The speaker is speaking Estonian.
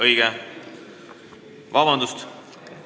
Õige, vabandust!